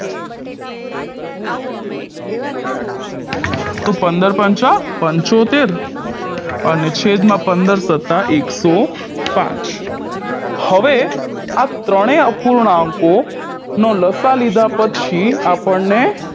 તો પંદર પંચા પંચોતેર અને છેદમાં પંદર સતા એક સો પાંચ હવે આ ત્રણેય અપૂર્ણાંકોનો લસાઅ લીધા પછી આપણને